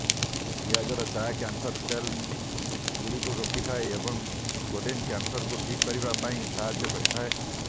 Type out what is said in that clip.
ପିଆଜର ଚା cancer cells ଗୁଡିକୁ ରୋକିଥାଏ ଏବଂ କୋଲିନ କ୍ୟାନସରକୁ ଠିକ କରିବା ପାଇଁ ସାହାଯ୍ୟ କରିଥାଏ